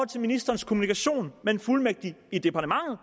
til ministerens kommunikation med en fuldmægtig i departementet